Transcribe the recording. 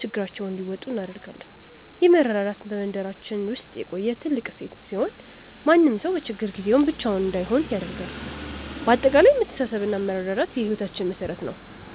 ችግራቸውን እንዲወጡ እናደርጋለን። ይህ መረዳዳት በመንደራችን ውስጥ የቆየ ትልቅ እሴት ሲሆን፣ ማንም ሰው በችግር ጊዜ ብቻውን እንዳይሆን ያደርጋል። በአጠቃላይ መተሳሰብና መረዳዳት የህይወታችን መሠረት ነው።